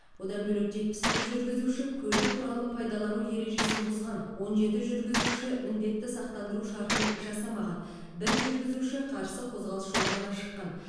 одан бөлек жетпіс бір жүргізуші көлік құралын пайдалану ережесін бұзған он жеті жүргізуші міндетті сақтандыру шартын жасамаған бір жүргізуші қарсы қозғалыс жолағына шыққан